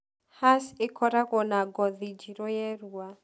Hass ĩkoragwo na ngothi njĩru yerua